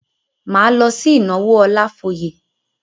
Máa lọ sí ìnáwó Ọlafóyè.